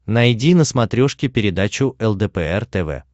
найди на смотрешке передачу лдпр тв